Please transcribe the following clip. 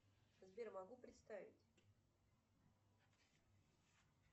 сбер могу представить